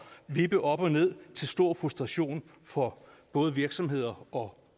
vippe op og ned til stor frustration for både virksomheder og